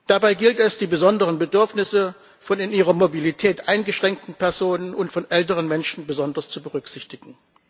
Dabei gilt es, die besonderen Bedürfnisse von in ihrer Mobilität eingeschränkten Personen und von älteren Menschen besonders zu berücksichtigen.